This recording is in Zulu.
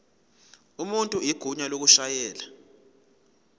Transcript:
umuntu igunya lokushayela